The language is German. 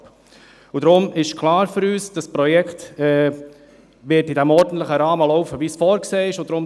Und deshalb ist für uns klar, dass das Projekt im ordentlichen Rahmen, wie vorgesehen, laufen wird.